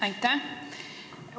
Aitäh!